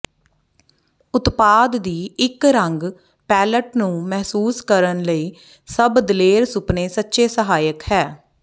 ਉਤਪਾਦ ਦੀ ਇੱਕ ਰੰਗ ਪੈਲਅਟ ਨੂੰ ਮਹਿਸੂਸ ਕਰਨ ਲਈ ਸਭ ਦਲੇਰ ਸੁਪਨੇ ਸੱਚੇ ਸਹਾਇਕ ਹੈ